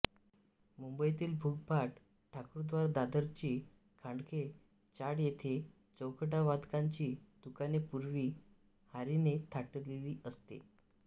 मुंबईतील मुगभाट ठाकूरद्वार दादरची खांडके चाळ येथे चौघडावादकांची दुकाने पूर्वी हारीने थाटलेली असत